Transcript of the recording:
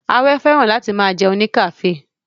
Awẹ́ fẹ́ràn láti máa jẹun ní kafe